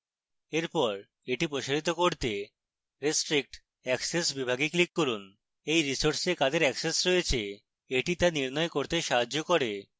এরপর এটি প্রসারিত করতে restrict access বিভাগে click করুন